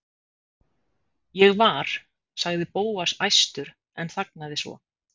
Ég var. sagði Bóas æstur en þagnaði svo.